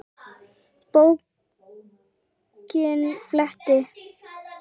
Bókinni flett.